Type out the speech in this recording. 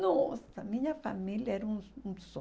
Nossa, minha família era um um